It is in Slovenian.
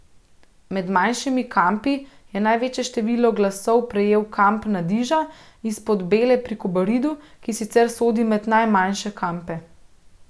Med manjšimi kampi je največje število glasov prejel kamp Nadiža iz Podbele pri Kobaridu, ki sicer sodi med najmanjše kampe.